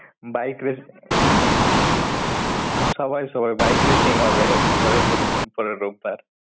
Bike race~ সবাই সবার bike racing হবে পরের বুধ~ পরের রোববার।